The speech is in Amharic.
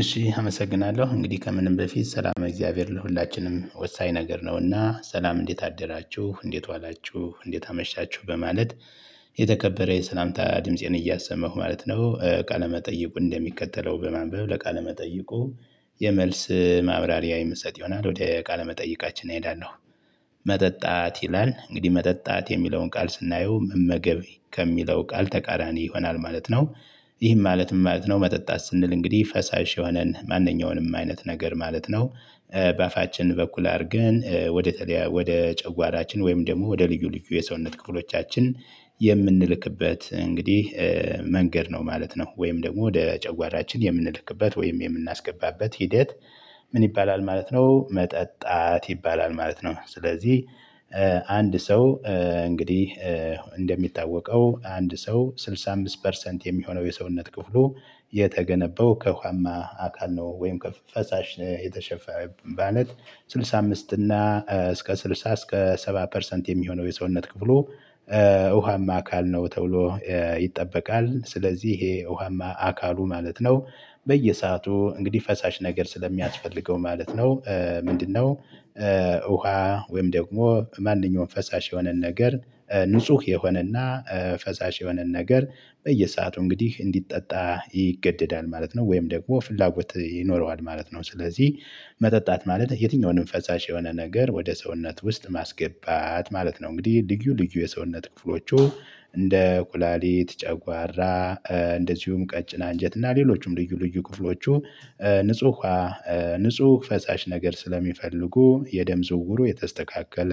እሺ አመሰግናለሁ እንግዲህ ከምንም በፊት ሰላም እግዚአብሔር ለሁላችንም ወሳኝ ነገር ነው። እና ሰላም እንዴት አደራችሁ እንዴት ዋላችሁ እንዴት አመሻችሁ በማለት የተከበረ የሰላምታ ድምፄን እያሰማሁ ማለት ነው። ቃለመ ጠይቁ እንደሚቀጥለው በማንበብ ለቃለ መጠይቁ። የመልስ ማብራሪያ የምሰጥ ይሆናል ወደ ቃለ መጠይቃችን እሄዳለሁ። መጠጣት ይላል እንግዲህ መጠጣት የሚለውን ቃል ስናየው መመገብ ከሚለው ቃል ተቃራኒ ይሆናል ማለት ነው። ይህም ማለት ምን ማለት ነው? መጠጣት ስንል እንግዲህ ፈሳሽ የሆነን ማንኛውንም አይነት ነገር ማለት ነው። በአፋችን በኩል አድርገን ወደ ተለያ ወደ ጨጓራችን ወይም ደግሞ ወደ ልዩ ልዩ የሰውነት ክፍሎቻችን። የምንልክበት እንግዲህ መንገድ ነው ማለት ነው። ወይም ደግሞ ወደ ጨጓራችን የምንልክበት ወይም የምናስገባበት ሂደት። ምን ይባላል ማለት ነው። መጠጣት ይባላል ማለት ነው። ስለዚህ አንድ ሰው እንግዲህ እንደሚታወቀው አንድ ሰው ስድሳ አምስት ፐርሰንት የሚሆነው የሰውነት ክፍሉ የተገነባው ከውኋማ አካል ነው። ወይም ከፈሳሽ ነው የተሸፈ ማለት። ስድሳ አምስት እና እስከ ስድሳ እስከ ሰባ ፐርሰንት የሚሆነው የሰውነት ክፍሉ ውሃማ አካል ነው ተብሎ ይጠበቃል። ስለዚህ ይሄ ውሃማ አካሉ ማለት ነው። በየሰአቱ እንግዲህ ፈሳሽ ነገር ስለሚያስፈልገው ማለት ነው ምንድነው? ውሃ ወይም ደግሞ ማንኛውም ፈሳሽ የሆነን ነገር ንጹህ የሆነና ፈሳሽ የሆነን ነገር በየሰአቱ እንግዲህ እንዲጠጣ ይገደዳል ማለት ነው። ወይም ደግሞ ፍላጎት ይኖረዋል ማለት ነው። ስለዚህ መጠጣት ማለት የትኛውንም ፈሳሽ የሆነ ነገር ወደ ሰውነት ውስጥ ማስገባት ማለት ነው። እንግዲህ ልዩ ልዩ የሰውነት ክፍሎቹ እንደ ኩላሊት ጨጓራ እንደዚሁም ቀጭን አንጀት እና ሌሎችም ልዩ ልዩ ክፍሎቹ። ንጹህ ዉሃ ንጹህ ፈሳሽ ነገር ስለሚፈልጉ የደም ዝውውሩ የተስተካከለ